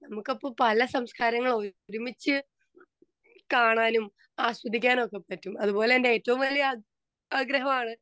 Speaker 2 നമ്മുക്ക് അപ്പൊ പല സംസ്‌കാരങ്ങൾ ഒരുമിച്ചു കാണാനും ആസ്വദിക്കാനും ഒക്കെ പറ്റും. അതുപോലെ തന്നെ ഏറ്റവും വലിയ ആഗ്രഹം ആണ്